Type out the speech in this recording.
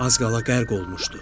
Az qala qərq olmuşdu.